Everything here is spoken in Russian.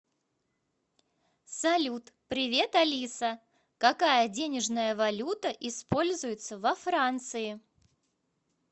салют привет алиса какая денежная валюта используется во франции